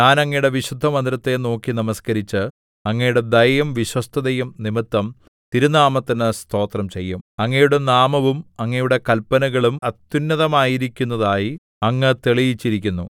ഞാൻ അങ്ങയുടെ വിശുദ്ധമന്ദിരത്തെ നോക്കി നമസ്കരിച്ച് അങ്ങയുടെ ദയയും വിശ്വസ്തതയും നിമിത്തം തിരുനാമത്തിനു സ്തോത്രം ചെയ്യും അങ്ങയുടെ നാമവും അങ്ങയുടെ കല്പനകളും അത്യുന്നതമായിരിക്കുന്നതായി അങ്ങ് തെളിയിച്ചിരിക്കുന്നു